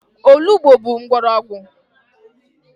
Olugbo bụ mgbọrọgwụ.